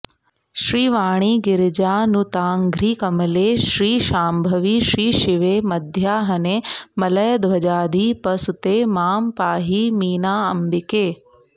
श्रीवाणीगिरिजानुताङ्घ्रिकमले श्रीशांभवि श्रीशिवे मध्याह्ने मलयध्वजाधिपसुते मां पाहि मीनाम्बिके